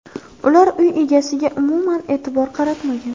Ular uy egasiga umuman e’tibor qaratmagan.